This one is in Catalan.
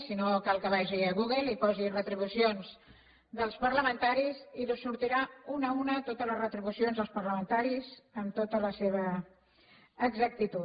si no cal que vagi a google i hi posi retribucions dels parlamentaris i li sortiran una a una totes les retribucions dels parlamentaris amb tota la seva exactitud